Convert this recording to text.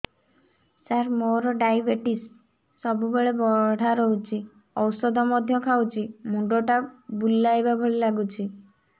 ସାର ମୋର ଡାଏବେଟିସ ସବୁବେଳ ବଢ଼ା ରହୁଛି ଔଷଧ ମଧ୍ୟ ଖାଉଛି ମୁଣ୍ଡ ଟା ବୁଲାଇବା ଭଳି ଲାଗୁଛି